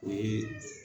O ye